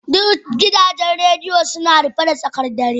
Duk gidajen rediyo suna rufe da tsakar dare